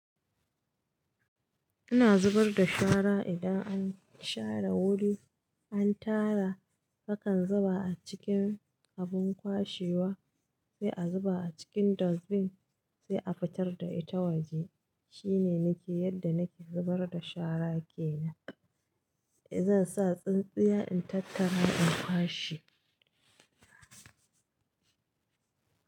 Ina zubar da shara idan an share wuri, an tara, kakan zuba a cikin abin kwashewa, sai a zuba a cikin dustbin, sai a fitar da ita waje. Shine nake yadda nake zubar da shara ke nan. E zan sa tsintsiya in tattara in kwashe.